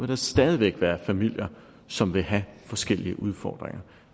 der stadig væk være familier som vil have forskellige udfordringer